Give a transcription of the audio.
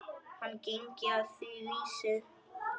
Hann gengi að því vísu.